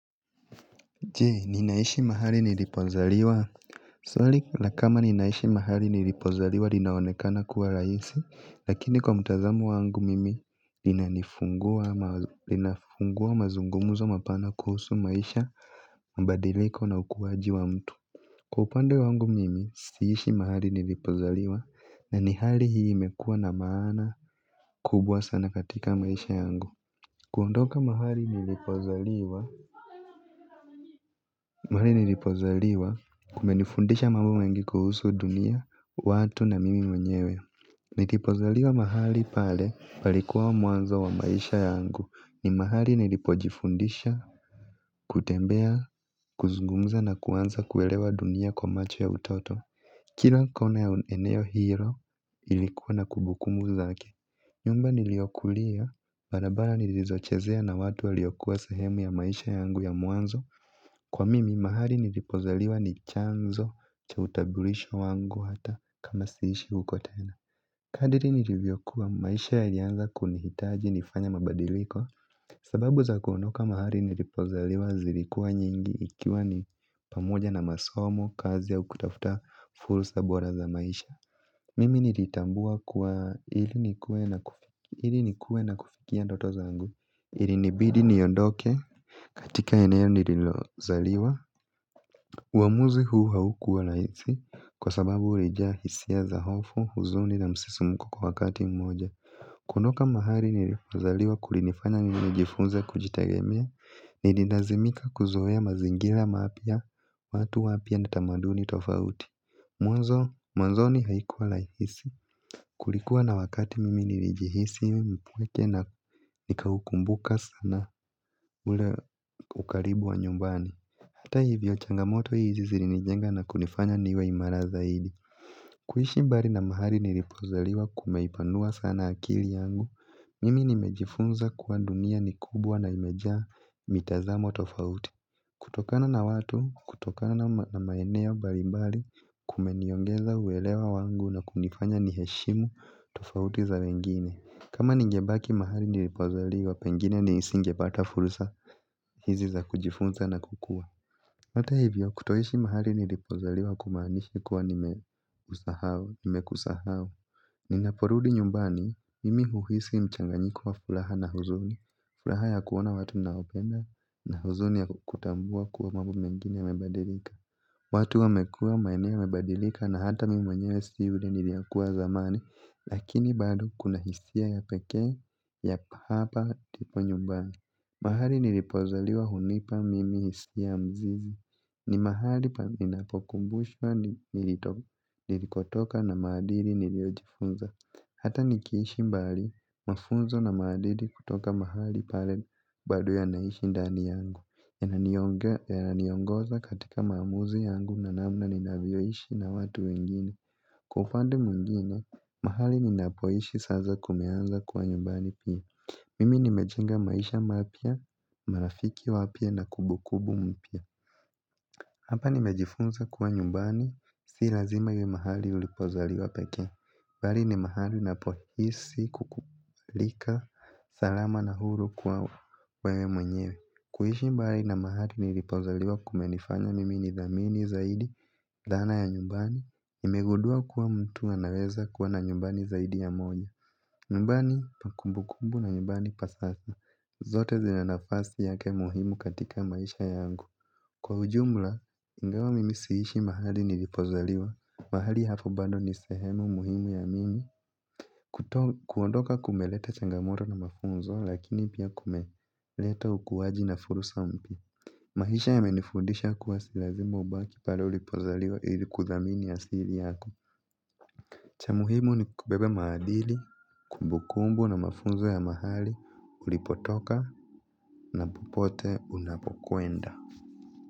Jee ninaishi mahali nilipozaliwa. Swali la kama ninaishi mahali nilipozaliwa linaonekana kuwa raisi lakini kwa mutazamu wangu mimi lina nifungua mazungumuzo mapana kuhusu maisha mabadiliko na ukuwaji wa mtu. Kwa upande wangu mimi siishi mahali nilipozaliwa na ni hali hii imekuwa na maana kubwa sana katika maisha yangu. Kuondoka mahali nilipozaliwa mahali nilipozaliwa kumenifundisha mambo mengi kuhusu dunia, watu na mimi mwenyewe. Nilipozaliwa mahali pale palikuwa mwanzo wa maisha yangu. Ni mahali nilipojifundisha, kutembea, kuzungumza na kuanza kuelewa dunia kwa macho ya utoto. Kila kona ya eneo hiyo ilikuwa na kubukumbu zake. Nyumba niliokulia, barabara nilizochezea na watu aliyokuwa sahemu ya maisha yangu ya mwanzo. Kwa mimi mahali nilipozaliwa ni chanzo cha utaburisho wangu hata kama siishi ukotena. Kadiri nilivyo kuwa maisha yalianza kunihitaji nifanya mabadiliko. Sababu za kuondoka mahali nilipozaliwa zilikuwa nyingi ikiwa ni pamoja na masomo kazi au kutafuta fulsa bora za maisha mimi nilitambua kuwa ili nikuwe na kufikia ndoto zangu. Ilinibidi niondoke katika eneo nililozaliwa. Uwamuzi huu haukuwa laisi kwa sababu ulijaa hisia za hofu huzuni na msisimko kwa wakati mmoja. Kuondoka mahali nilifazaliwa kulinifanya mimi nijifunze kujitagemea. Nililazimika kuzoea mazingila maapya watu wapya na tamaduni tofauti. Mwanzo ni haikuwa laisi kulikuwa na wakati mimi nilijihisi mpweke na nikaukumbuka sana. Ule ukaribu wa nyumbani hata hivyo changamoto hizi zilinijenga na kunifanya niwe imara zaidi. Kuishi mbari na mahali nilipozaliwa kumeipanua sana akili yangu. Mimi nimejifunza kuwa dunia ni kubwa na imejaa mitazamo tofauti. Kutokana na watu, kutokana na maeneo balimbali kumeniongeza uelewa wangu na kunifanya ni heshimu tofauti za wengine. Kama ningebaki mahali nilipozaliwa, pengine nisingepata fursa hizi za kujifunza na kukua hata hivyo kutoishi mahali nilipozaliwa kumaanishi kuwa nimekusahau. Ninaporudi nyumbani imi huhisi mchanganyikowa fulaha na huzuni. Fulaha ya kuona watu naopenda na huzuni ya kutambua kuwa mambo mengine yamebadilika. Watu wamekua maeneo yamebadilika na hata mimi mwenyewe si ule niliyekuwa zamani. Lakini bado kuna hisia ya peke ya hapa ndipo nyumbani. Mahali nilipozaliwa hunipa mimi hisia mzuri. Ni mahali pa ninapokumbushwa nilikotoka na maadili niliojifunza. Hata nikiishi mbali mafunzo na maadili kutoka mahali pale bado ya naishi ndani yangu. Yana niongoza katika maamuzi yangu na namna ninavyoishi na watu wengine. Kufandi mungina, mahali ninapoishi saza kumeanza kuwa nyumbani pia. Mimi nimejenga maisha marafiki wapya na kubukubu mpya. Hapa nimejifunza kuwa nyumbani. Si lazima iwe mahali ulipozaliwa peke mbali ni mahali napohisi kukulika salama na huru kuwa wewe mwenyewe. Kuishi mbali na mahali nilipozaliwa kumenifanya mimi ni dhamini zaidi dhana ya nyumbani nimegudua kuwa mtu anaweza kuwa na nyumbani zaidi ya moja. Mbani pa kumbu kumbu na mbani pasasa zote zina nafasi yake muhimu katika maisha yangu. Kwa ujumla, ingawa mimi siishi mahali nilipozaliwa. Mahali hapo bando ni sehemu muhimu ya mimi. Kuondoka kumeleta changamoto na mafunzo lakini pia kumeleta ukuwaji na fursa mpya. Mahisha yamenifundisha kuwa si lazimu ubaki pale ulipozaliwa ili kudhamini asili yako. Cha muhimu ni kubeba maadili, kumbukumbu na mafunzo ya mahali ulipotoka na popote unapokwenda.